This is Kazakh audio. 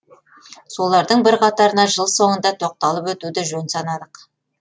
солардың бірқатарына жыл соңында тоқталып өтуді жөн санадық